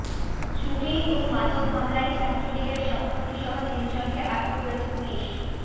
চুরি ও মাদক মামলায় ছাত্রলীগের সভাপতিসহ তিনজনকে আটক করেছে পুলিশ